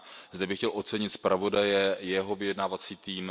Zde bych chtěl ocenit zpravodaje, jeho vyjednávací tým.